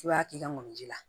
I b'a k'i ka mɔni ji la